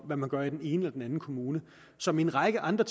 hvad man gør i den ene eller den anden kommune som i en række andre